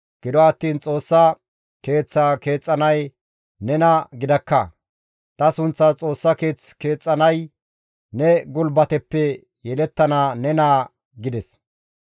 gido attiin Xoossa Keeththaa keexxanay nena gidakka; ta sunththas Xoossa keeth keexxanay ne gulbateppe yelettana ne naa› gides.